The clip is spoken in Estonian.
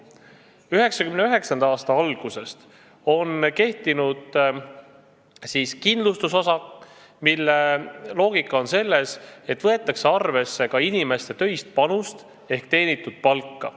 1999. aasta algusest on kehtinud kindlustusosak, mille loogika on selles, et võetakse arvesse ka inimeste töist panust ehk teenitud palka.